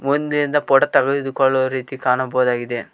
ಮುಂದೆಯಿಂದ photo ತೆಗೆದುಕೊಳ್ಳುತ್ತಿರುವ ರೀತಿ ಕಾಣಬಹುದಾಗಿದೆ.